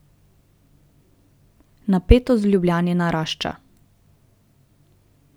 Napetost v Ljubljani narašča.